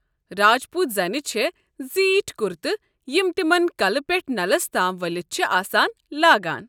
راجپوٗت زنہِ چھےٚ زیٖٹھۍ کُرتہٕ، یم تمن کلہٕ پٮ۪ٹھٕ نلس تام ؤلتھ چھِ آسان، لاگان۔